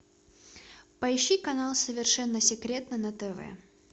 поищи канал совершенно секретно на тв